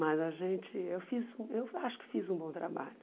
Mas a gente, eu fiz eu acho que fiz um bom trabalho.